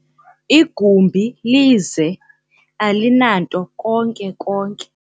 igumbi lize, alinanto konke konke